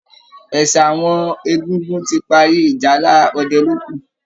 Ẹ̀sà àwọn egungun ti parí, ìjálá ọdẹ ló kù